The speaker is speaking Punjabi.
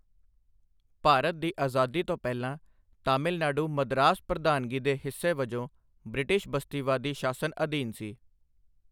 ਭਾਰਤ ਦੀ ਆਜ਼ਾਦੀ ਤੋਂ ਪਹਿਲਾਂ, ਤਾਮਿਲਨਾਡੂ ਮਦਰਾਸ ਪ੍ਰਧਾਨਗੀ ਦੇ ਹਿੱਸੇ ਵਜੋਂ ਬ੍ਰਿਟਿਸ਼ ਬਸਤੀਵਾਦੀ ਸ਼ਾਸਨ ਅਧੀਨ ਸੀ।